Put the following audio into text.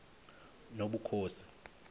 nobukhosi